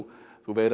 þú veigrar